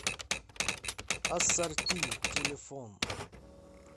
ассорти телефон